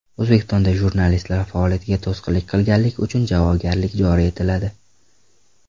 O‘zbekistonda jurnalistlik faoliyatga to‘sqinlik qilganlik uchun javobgarlik joriy etiladi.